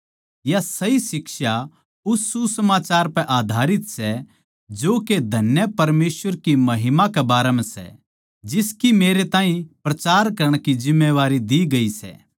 या सही शिक्षा उस सुसमाचार पै आधारित सै जो के धन्य परमेसवर की महिमा के बारें म्ह सै जिसकी मेरै ताहीं प्रचार करण की जिम्मेदारी दी गई सै